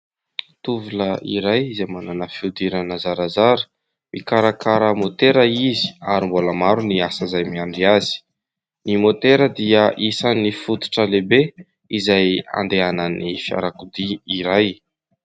Tovolahy iray izay manana fihodirana zarazara. Mikarakara môtera izy ary mbola maro ny asa izay miandry azy. Ny môtera dia isan'ny fototra lehibe izay andehanan'ny fiarakodia iray.